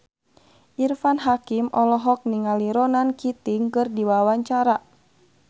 Irfan Hakim olohok ningali Ronan Keating keur diwawancara